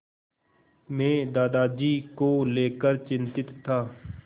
मैं दादाजी को लेकर चिंतित था